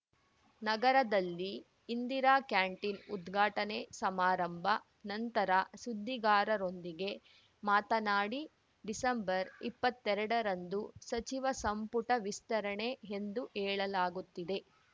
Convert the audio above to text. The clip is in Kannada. ನಗರದಲ್ಲಿ ಇಂದಿರಾ ಕ್ಯಾಂಟೀನ್‌ ಉದ್ಘಾಟನೆ ಸಮಾರಂಭ ನಂತರ ಸುದ್ದಿಗಾರರೊಂದಿಗೆ ಮಾತನಾಡಿ ಡಿಸಂಬರ್ಇಪ್ಪತ್ತೆರಡರಂದು ಸಚಿವ ಸಂಪುಟ ವಿಸ್ತರಣೆ ಎಂದು ಹೇಳಲಾಗುತ್ತಿದೆ